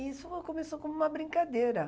Isso começou como uma brincadeira.